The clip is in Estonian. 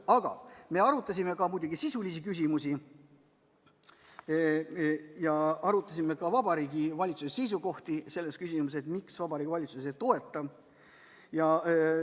Aga me arutasime muidugi ka sisulisi küsimusi, samuti Vabariigi Valitsuse seisukohti selles küsimuses, miks Vabariigi Valitsus eelnõu ei toeta.